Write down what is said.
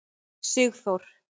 Sigþór